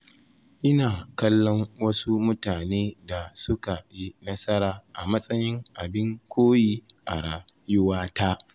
Ina kallon wasu mutane da suka yi nasara a matsayin abin koyi a rayuwata.